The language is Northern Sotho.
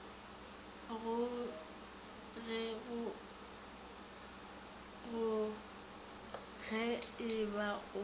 go ge e ba o